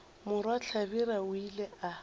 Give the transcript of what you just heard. morwa hlabirwa o ile a